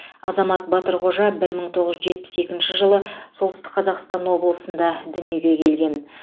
азамат батырқожа бір мың тоғыз жүз жетпіс екінші жылы солтүстік қазақстан облысында дүниеге келген